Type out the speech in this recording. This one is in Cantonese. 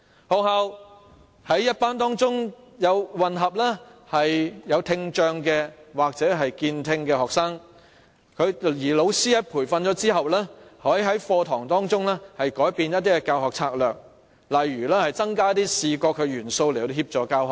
學校在班級中混合聽障或健聽學生，而老師在接受培訓後，可在課堂中改變教學策略，例如增加視覺元素來協助教學。